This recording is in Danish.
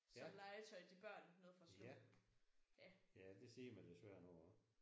Ja. Ja det ser man desværre nogle gange